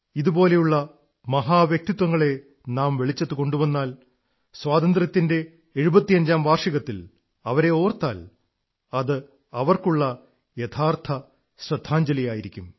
ഇതുപോലുള്ള മഹാ വ്യക്തിത്വത്തങ്ങളെ നാം വെളിച്ചത്തുകൊണ്ടുവന്നാൽ സ്വാതന്ത്ര്യത്തിന്റെ എഴുപത്തഞ്ചാം വാർഷികത്തിൽ അവരെ ഓർത്താൽ അതവർക്കുള്ള യഥാർഥ ശ്രദ്ധാഞ്ജലിയായിരിക്കും